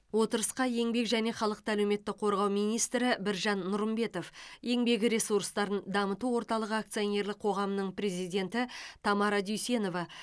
отырысқа еңбек және халықты әлеуметтік қорғау министрі біржан нұрымбетов еңбек ресурстарын дамыту орталығы акционерлік қоғамының президенті тамара дүйсенова